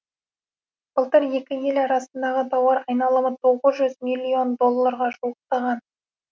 былтыр екі ел арасындағы тауар айналымы тоғыз жүз миллион долларға жуықтаған